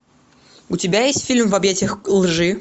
у тебя есть фильм в объятиях лжи